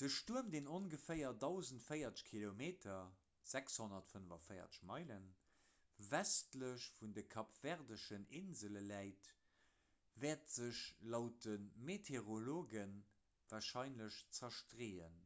de stuerm deen ongeféier 1040 km 645 meile westlech vun de kapverdeschen insele läit wäert sech laut de meteorologe warscheinlech zerstreeën